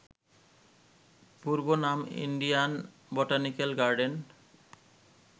পূর্বনাম Indian botanical garden